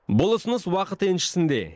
бұл ұсыныс уақыт еншісінде